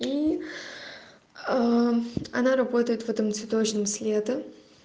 и она работает в этом цветочном с лета